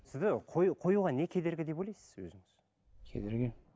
сізді қоюға не кедергі деп ойлайсыз өзіңіз кедергі